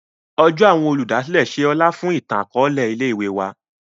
Ọjọ awọn Olùdásílẹ̀ ṣe ọlá fún itan-akọọlẹ ilé-ìwé wà.